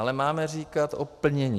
Ale máme říkat o plnění.